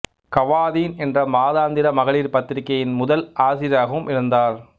கவாதீன் என்ற மாதாந்திர மகளிர் பத்திரிகையின் முதல் ஆசிரியராகவும் இருந்தார்